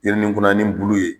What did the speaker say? jirininkunanin bulu ye.